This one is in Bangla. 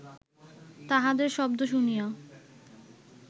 তাঁহাদের শব্দ শুনিয়া